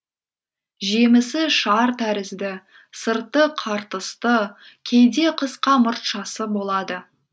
жемісі шар тәрізді сырты қыртысты кейде қысқа мұртшасы болады